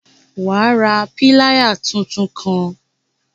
Wà ra piláyà títún kàn!